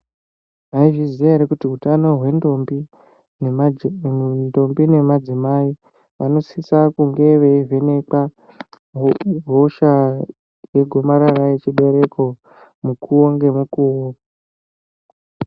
Mwaizviziya ere kuti utano hwendombi nemadzimai vanosisa kunge veivhenekwa hosha yegomarara rechibereko mukuwo ngemukuwo.